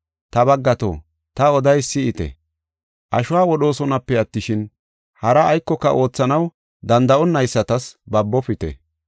“Ta baggato, ta odeysa si7ite; ashuwa wodhoosonape attishin, haraa aykoka oothanaw danda7onaysatas babofite.